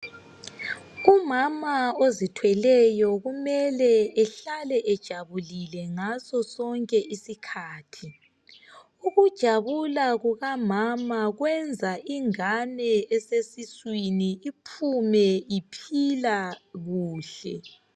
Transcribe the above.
Umama ozithweleyo kumele ehlale ejabulile ngaso sonke isikhathi. Ukujabula kukamama kwenza ingane esesiswini iphume iphila kuhle.